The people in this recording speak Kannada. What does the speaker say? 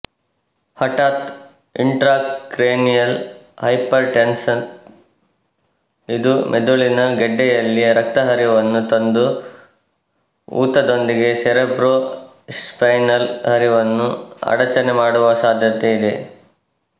ಹಠಾತ್ ಇಂಟ್ರಾಕ್ರೇನಿಯಲ್ ಹೈಪರ್ ಟೆನ್ಸೆನ್ ಇದು ಮೆದುಳಿನಘೆಡ್ಡೆಯಲ್ಲಿ ರಕ್ತಹರಿವನ್ನು ತಂದು ಊತದೊಂದಿಗೆ ಸೆರೆಬ್ರೊ ಸ್ಪೈನಲ್ ಹರಿವನ್ನು ಅಡಚಣೆ ಮಾಡುವಸಾಧ್ಯತೆ ಇದೆ